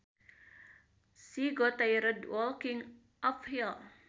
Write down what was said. She got tired walking uphill